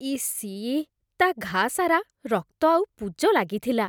EC, ତା' ଘାଆ ସାରା ରକ୍ତ ଆଉ ପୁଜ ଲାଗିଥିଲା ।